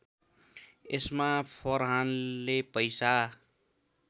यसमा फरहानले पैसा